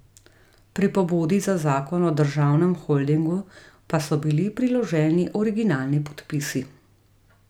Pri pobudi za zakon o državnem holdingu pa so bili priloženi originalni podpisi.